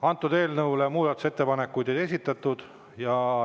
Eelnõu kohta ei ole muudatusettepanekuid esitatud.